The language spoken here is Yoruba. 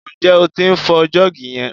Ǹjẹ́ o tí ń fọ jọ́ọ̀gì yẹn?